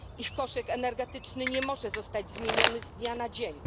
Ich koszyk energetyczny nie może zostać zmieniony z dnia na dzień.